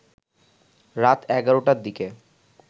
রাত ১১ টার দিকে